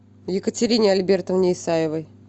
екатерине альбертовне исаевой